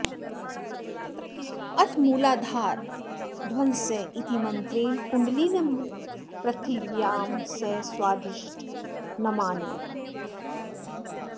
अथ मूलाधाराद्धंस इति मन्त्रेण कुण्डलिनीं पृथिव्या सह स्वाधिष्ठानमानीय